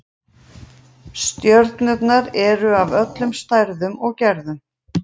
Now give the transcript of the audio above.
Stjörnurnar eru af öllum stærðum og gerðum.